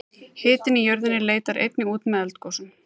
hitinn í jörðinni leitar einnig út með eldgosum